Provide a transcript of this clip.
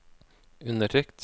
undertrykt